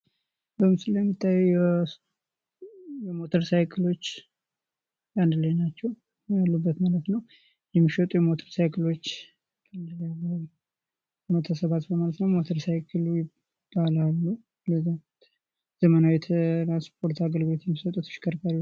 በምስሉ ላይ የሚታየው የሞተር ሳይክሎች አንድ ላይ ናቸው። ያሉበ ማለት ነው። የሚሸጡ የሞተር ሳይክሎች ተሰባስበው ነው ማለት ነው። ሞተር ሳይክል ይባላሉ። ዘመናዊ ትራንስፖርት አገልግሎት የሚሰጡ ተሽከርካሪዎች።